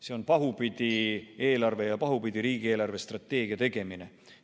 See on pahupidi eelarve ja pahupidi riigi eelarvestrateegia tegemine.